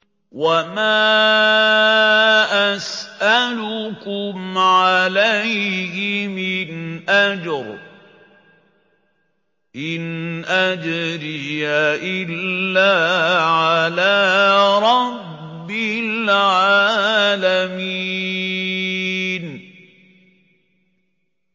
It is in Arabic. وَمَا أَسْأَلُكُمْ عَلَيْهِ مِنْ أَجْرٍ ۖ إِنْ أَجْرِيَ إِلَّا عَلَىٰ رَبِّ الْعَالَمِينَ